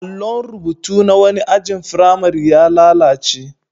Allon rubutu na wani ajin firamare ya lalace.